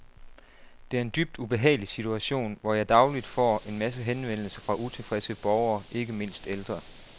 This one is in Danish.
Det er en dybt ubehagelig situation, hvor jeg dagligt får en masse henvendelser fra utilfredse borgere, ikke mindst ældre.